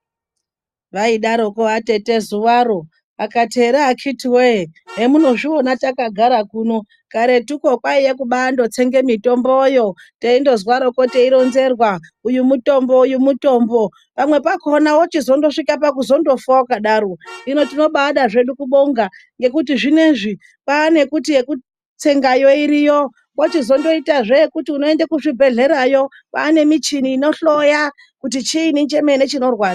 Vaidaroko atete zuwaro, akati ere akhiti woye, emunozviona takagara kuno karetuko kwaiye kubandotsenge mitomboyo teindozwaroko teironzerwa uyu mutombo uyu mutombo. Pamwe pakhona wochizondosvika pakuzondofa wakadaro, hino tinobada zvedu kubonga ngekuti zvinezvi kwane kuti yekutsengayo iriyo kwochizondoitazve yekuti unoende kuzvibhehlerayo kwane michini inohloya kuti chiini chemene chinorwadza.